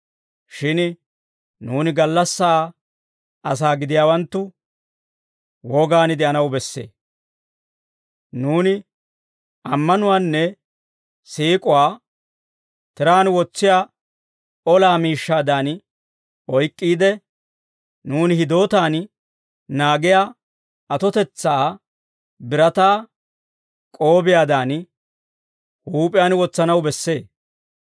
Shin nuuni gallassaa asaa gidiyaawanttu wogaan de'anaw bessee. Nuuni ammanuwaanne siik'uwaa tiraan wotsiyaa olaa miishshaadan oyk'k'iide, nuuni hidootaan naagiyaa atotetsaa, birataa k'oobiyaadan, huup'iyaan wotsanaw bessee.